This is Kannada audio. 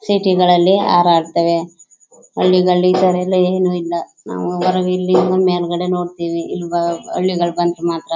ಸಿಟಿ ಗಳಲ್ಲಿ ಹರಡ್ತಾವೆ ಹಳ್ಳಿಗಳಿಲಿ ಈ ತರ ಎಲ್ಲಾ ಏನು ಇಲ್ಲ ನಾವು ಬರೋದಿಲ್ಲಿ ನೋಡ್ತೀವಿ ಇಲ್ಲಿಂದ ಮೇಲ್ಗಡೆ ನೋಡ್ತಿವಿ ಇಲ್ಲಿ ಹಳ್ಳಿಗಳಲ್ಲಿ ಬಂದ್ರೆ ಮಾತ್ರ.